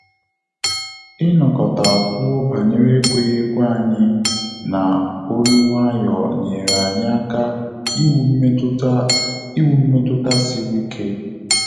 I nokota kwuo banyere ekweghị ekwe anyị na olu nwayọ nyere anyị aka iwu mmetụta iwu mmetụta sịrị ike